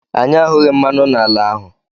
Anyị ahụghị mmanụ n'ala ahụ.